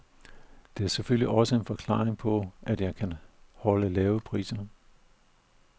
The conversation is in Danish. Det er selvfølgelig også en forklaring på, at jeg kan holde lave priser.